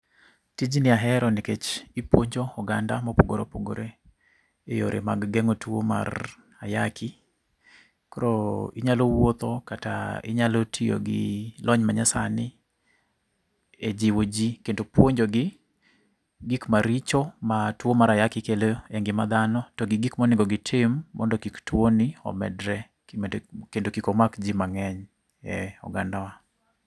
Tijni ahero nikech ipuonjo oganda mopogore opogore eyore mag geng'o tuwo mar ayaki, koro inyalo wuotho kata inyalo tiyo gi lony manyasani e jiwo ji kendo puonjogi gik maricho ma tuwo mar ayaki kelo e ngima dhano to gi gik monego gitim mondo kik tuwoni omedre kendo kik omak ji mang'eny e ogandawa.